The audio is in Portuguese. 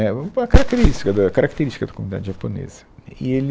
É uma característica da característica da comunidade japonesa. E ele